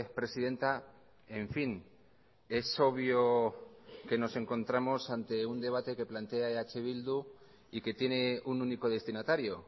presidenta en fin es obvio que nos encontramos ante un debate que plantea eh bildu y que tiene un único destinatario